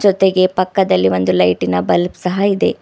ತೆಗೆ ಪಕ್ಕದಲ್ಲಿ ಒಂದು ಲೈಟಿ ನ ಬಲ್ಬ್ ಸಹ ಇದೆ.